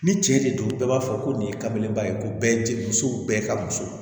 Ni cɛ de don bɛɛ b'a fɔ ko nin ye kamelenba ye ko bɛɛ tɛ musow bɛɛ ka muso ye